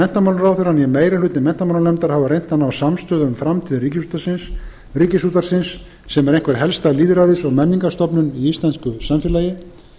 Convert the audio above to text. meiri hluti menntamálanefndar hafa reynt að ná samstöðu um framtíð ríkisútvarpsins sem er einhver helsta lýðræðis og menningarstofnun í íslensku samfélagi